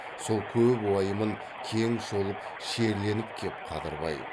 сол көп уайымын кең шолып шерленіп кеп қадырбай